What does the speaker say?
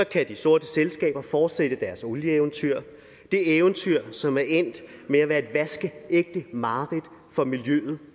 kan de sorte selskaber fortsætte deres olieeventyr de eventyr som er endt med at være et vaskeægte mareridt for miljøet